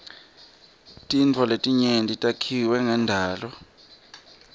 tintfo letinyenti takhiwe ngendalo